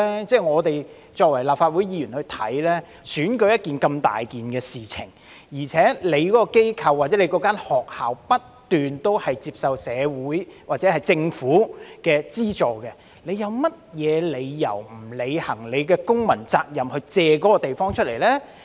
由我們立法會議員看來，選舉是如此重大的事情，而且機構或學校不斷接受社會或政府的資助，有甚麼理由不履行公民責任，借出地方呢？